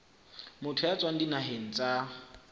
motho ya tswang dinaheng tsa